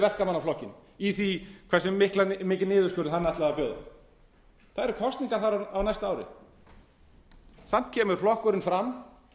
verkamannaflokkinn í því hversu mikinn niðurskurð hann ætlaði að bjóða það eru kosningar þar á næsta ári samt kemur flokkurinn fram